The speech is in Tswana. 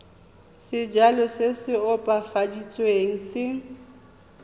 sejalo se se opafaditsweng se